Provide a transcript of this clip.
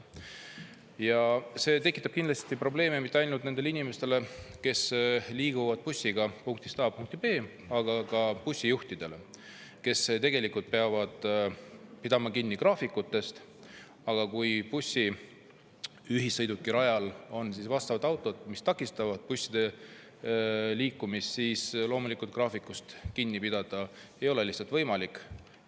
Ja see tekitab kindlasti probleeme mitte ainult nendele inimestele, kes liiguvad bussiga punktist A punkti B, aga ka bussijuhtidele, kes tegelikult peavad pidama kinni graafikutest, aga kui bussi-, ühissõidukirajal on vastavad autod, mis takistavad busside liikumist, siis loomulikult graafikust kinni pidada ei ole lihtsalt võimalik.